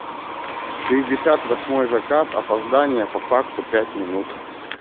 шестьдесят восьмой заказ опоздание по факту пять минут